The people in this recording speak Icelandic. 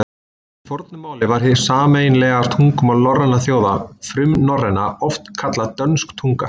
Í fornu máli var hið sameiginlega tungumál norrænna þjóða, frumnorræna, oft kallað dönsk tunga.